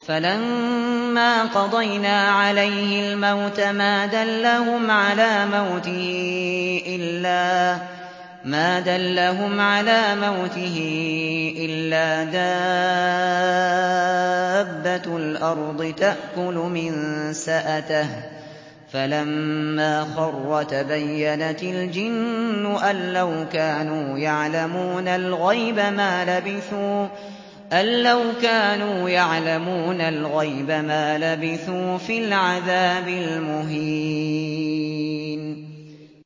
فَلَمَّا قَضَيْنَا عَلَيْهِ الْمَوْتَ مَا دَلَّهُمْ عَلَىٰ مَوْتِهِ إِلَّا دَابَّةُ الْأَرْضِ تَأْكُلُ مِنسَأَتَهُ ۖ فَلَمَّا خَرَّ تَبَيَّنَتِ الْجِنُّ أَن لَّوْ كَانُوا يَعْلَمُونَ الْغَيْبَ مَا لَبِثُوا فِي الْعَذَابِ الْمُهِينِ